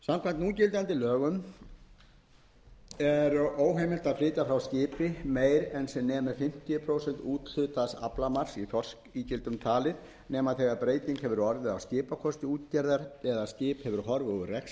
núgildandi lögum er óheimilt að flytja frá skipi meira en sem nemur fimmtíu prósent úthlutaðs aflamarks í þorskígildum talið nema þegar breyting hefur orðið á skipakosti útgerðar eða skip hefur horfið úr rekstri um